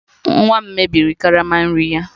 Nwa m mebiri karama nri ya